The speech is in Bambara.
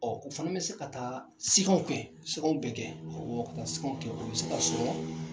Ɔ u fɛnɛ be se ka taa sɛgɛw kɛ sɛgɛw be kɛ awɔ ka sɛgɛw kɛ o be ka